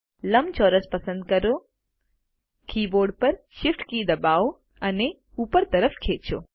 લંબચોરસ પસંદ કરો કીબોર્ડ પર Shift કી દબાવો અને ઉપર તરફ ખેંચો